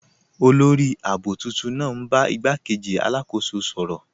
Olórì ààbò tuntun naa n bá igbàkéjì alákóso sọ̀rọ.